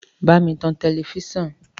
Bámi tan tẹlẹfísàn!